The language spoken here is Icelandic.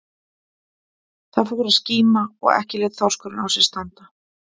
Það fór að skíma og ekki lét þorskurinn á sér standa.